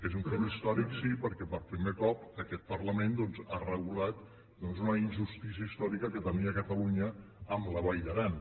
és un fet històric sí perquè per primer cop aquest parlament doncs ha regulat una injustícia històrica que tenia catalunya amb la vall d’aran